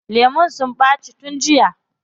Lemun sun ɓaci tun jiya.